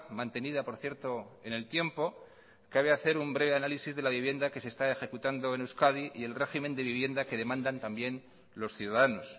mantenida por cierto en el tiempo cabe hacer un breve análisis de la vivienda que se está ejecutando en euskadi y el régimen de vivienda que demandan también los ciudadanos